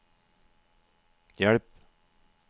hjelp